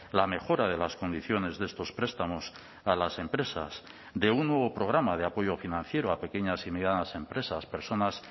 la mejora de las condiciones de estos prestamos a las empresas de un nuevo programa de apoyo financiero a pequeñas y medianas empresas personas